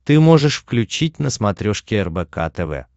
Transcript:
ты можешь включить на смотрешке рбк тв